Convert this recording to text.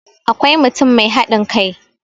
akwai mutum Mai haɗin kai